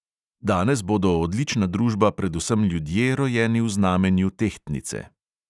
Danes bodo odlična družba predvsem ljudje, rojeni v znamenju tehtnice.